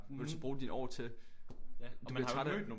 Vil du så bruge dine år til. Du bliver træt af